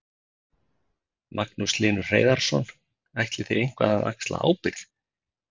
Magnús Hlynur Hreiðarsson: Ætlið þið eitthvað að axla ábyrgð?